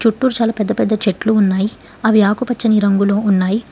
చుట్టూర్ చాలా పెద్ద పెద్ద చెట్లు ఉన్నాయ్ అవి ఆకుపచ్చని రంగులో ఉన్నాయ్.